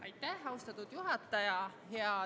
Aitäh, austatud juhataja!